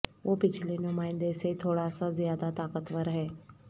وہ پچھلے نمائندے سے تھوڑا سا زیادہ طاقتور ہے